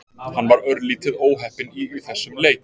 Hann var örlítið óheppinn í þessum leik.